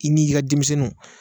I n' i ka denmisɛnninw